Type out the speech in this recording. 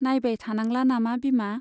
नाइबाय थानांला नामा बिमा ?